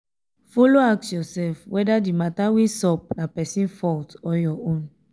follow ask ursef weda di mata wey sup na pesin fault or ur own